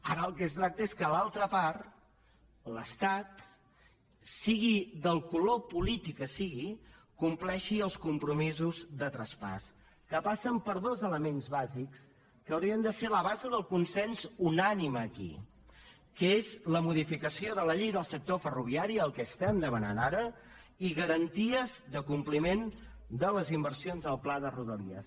ara del que es tracta és que l’altra part l’estat sigui del color polític que sigui compleixi els compromisos de traspàs que passen per dos elements bàsics que haurien de ser la base del consens unànime aquí que són la modificació de la llei del sector ferroviari el que estem demanant ara i garanties de compliment de les inversions del pla de rodalies